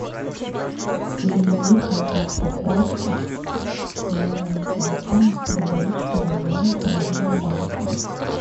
переведи контакту костя на его номер телефона сто рублей через мобильное приложение банка